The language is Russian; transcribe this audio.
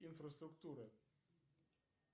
инфраструктуры